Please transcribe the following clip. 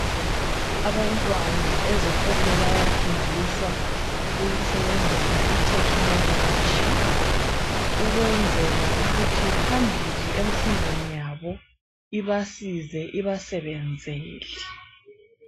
Abantwana ezikolo bayafundisa ukusebenzisa itechnology ukwenzela ukuthi phambili efundweni yabo ibasize ibasebenzele.